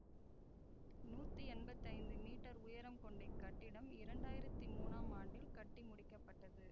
நூத்தி எம்பத்தி ஐந்து மீட்டர் உயரம் கொண்ட இக் கட்டிடம் இரண்டாயிரத்தி மூனாம் ஆண்டில் கட்டிமுடிக்கப்பட்டது